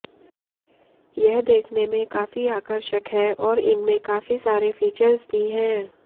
यह देखने में काफी आकर्षक है और इनमें काफी सारे फीचर्स भी हैं